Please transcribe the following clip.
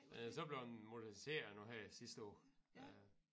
Så blev den moderniseret nu her sidste år øh